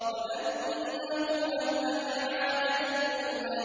وَأَنَّهُ أَهْلَكَ عَادًا الْأُولَىٰ